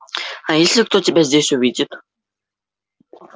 а если кто тебя здесь увидит